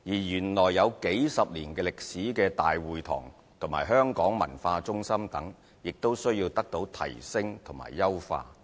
原來有數十年歷史的香港大會堂和香港文化中心等亦需要提升和優化。